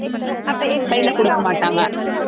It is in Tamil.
கைல கொடுக்கமாட்டாங்க